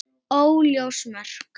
Óljós mörk.